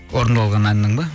орындалған әннің бе